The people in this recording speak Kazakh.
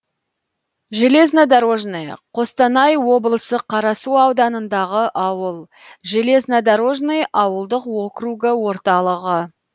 железнодорожное қостанай облысы қарасу ауданындағы ауыл железнодорожный ауылдық округі орталығы